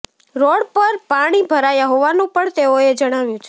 road પર પાણી ભરાયા હોવાનું પણ તેઓએ જણાવ્યુ છે